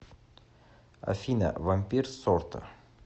афина вампир сорта